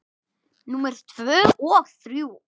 Númer tvö og þrjú.